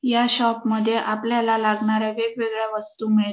या शॉप मध्ये आपल्याला लागणाऱ्या वेगवेगळ्या वस्तू मिळेल.